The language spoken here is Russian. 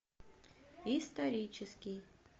исторический